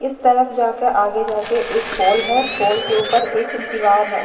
इस तरफ जाके आगे जाके एक पोल हैं पोल के ऊपर एक दिवार हैं।